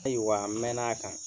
Ayiwa, n mɛn'a kan.